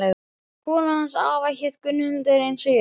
Konan hans afa hét Gunnhildur eins og ég.